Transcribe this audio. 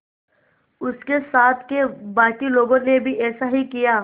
उसके साथ के बाकी लोगों ने भी ऐसा ही किया